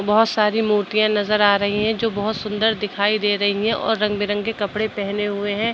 बहुत सारी मूर्तियां नजर आ रही हैं जो बहुत सुंदर दिखाई दे रही हैं और रंग बिरंगे कपड़े पहने हुए हैं।